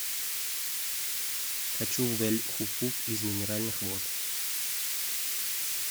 хочу в эль хуфуф из минеральных вод